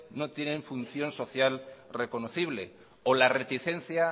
no tienen función social reconocibles o la reticencia